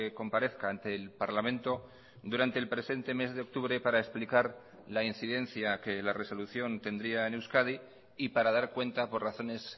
comparezca ante el parlamento durante el presente mes de octubre para explicar la incidencia que la resolución tendría en euskadi y para dar cuenta por razones